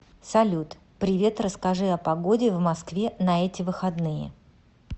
салют привет расскажи о погоде в москве на эти выходные